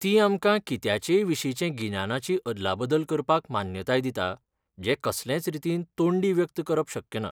ती आमकां कित्याचेयविशींचे गिन्यानाची अदलाबदल करपाक मान्यताय दिता जें कसलेच रीतीन तोंडी व्यक्त करप शक्य ना.